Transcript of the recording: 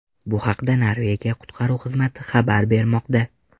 Bu haqda Norvegiya qutqaruv xizmati xabar bermoqda.